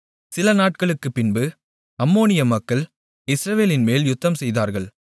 சிலநாட்களுக்குப்பின்பு அம்மோனிய மக்கள் இஸ்ரவேலின்மேல் யுத்தம்செய்தார்கள்